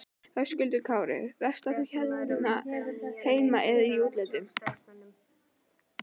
Höskuldur Kári: Verslar þú hér heima eða í útlöndum?